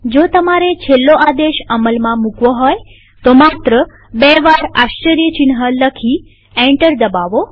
જો તમારે છેલ્લો આદેશ અમલમાં મુકવો હોય તો માત્ર બે વાર આશ્ચર્યચિહ્ન લખી એન્ટર દબાવો